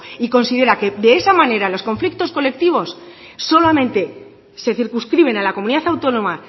y considera que de esa manera los conflictos colectivos solamente se circunscriben a la comunidad autónoma